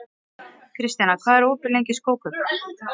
Kristjana, hvað er opið lengi í Stórkaup?